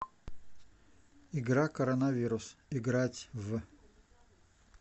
игра коронавирус играть в